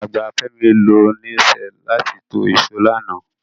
Alàgbà Fẹ́mi lo nail set láti to ìsó lánàá